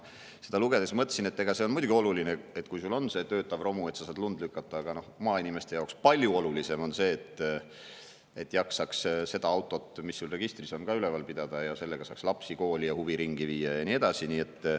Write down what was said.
Seda lugedes ma mõtlesin, et see on muidugi oluline, et kui sul on töötav romu, siis saad sellega lund lükata, aga maainimeste jaoks palju olulisem on see, et jaksaks seda autot, mis sul registris on, ka üleval pidada, et sellega saaks lapsi kooli ja huviringi viia ja nii edasi.